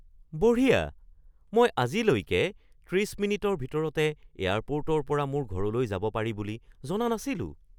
বঢ়িয়া! মই আজিলৈকে ৩০ মিনিটৰ ভিতৰতে এয়াৰপৰ্টৰ পৰা মোৰ ঘৰলৈ যাব পাৰি বুলি জনা নাছিলোঁ।